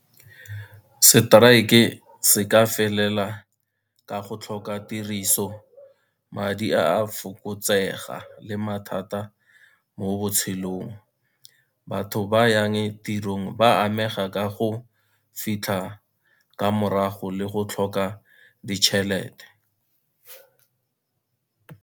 Strike-e se ka felela ka go tlhoka tiriso, madi a a fokotsega le mathata mo botshelong. Batho ba yang tirong ba amega ka go fitlha ka morago le go tlhoka ditšhelete.